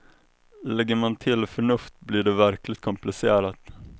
Lägger man till förnuft blir det verkligt komplicerat.